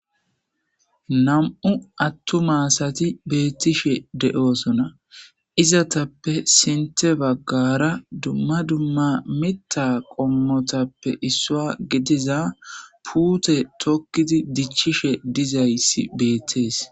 2 atuma asat betishe de'osona. Izetappe sinthe bagara dumma dumma mitha qomotappe issa gidiza pute dokid dicishe Des.